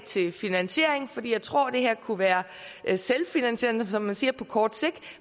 til finansiering jeg tror at det her kunne være selvfinansierende som man siger på kort sigt